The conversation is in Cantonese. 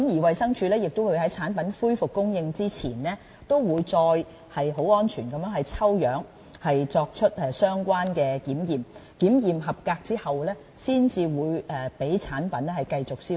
衞生署亦會在產品恢復供應之前再次進行抽樣，作出相關的檢驗，合格後才會讓產品繼續銷售。